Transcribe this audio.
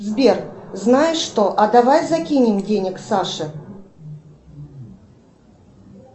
сбер знаешь что а давай закинем денег саше